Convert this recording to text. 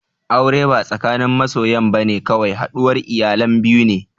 Aure ba tsakanin masoyan bane kawai, haɗuwar iyalan biyu ne